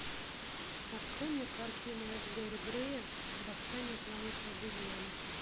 открой мне картину эф гэри грея восстание планеты обезьян